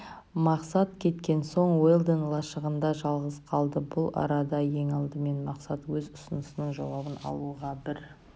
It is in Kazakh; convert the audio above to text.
мақсат кеткен соң уэлдон лашығында жалғыз қалды бұл арада ең алдымен мақсат өз ұсынысының жауабын алуға бір